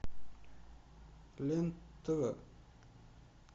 лен тв